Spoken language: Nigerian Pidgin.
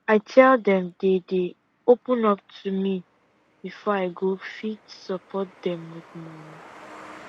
i tell dem dey dey open up to me before i go fit support dem with money